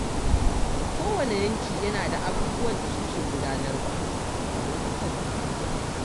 Kowane yanki yana da abubuwan da suke gudanarwa a lokutan bukukuwa.